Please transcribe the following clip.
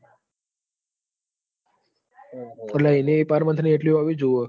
અટલ એની પર monthli હોવી જોવે